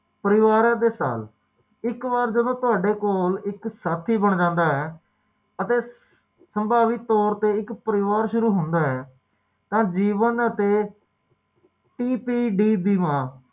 ਵੀ ਵਾਪਰ ਸਕਦੇ